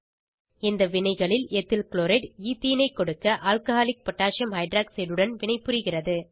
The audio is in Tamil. இந்த வினைகளில் எத்தில் க்ளோரைட் ஈத்தீனை ஐ கொடுக்க ஆல்கஹாலிக் பொட்டாசியம் ஹைட்ராக்சைட் உடன் வினைபுரிகிறது